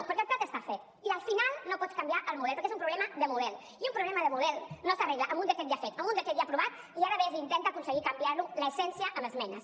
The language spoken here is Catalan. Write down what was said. perquè el plat està fet i al final no pots canviar el model perquè és un problema de model i un problema de model no s’arregla amb un decret ja fet amb un decret ja aprovat i ara ves i intenta aconseguir canviar ne l’essència amb esmenes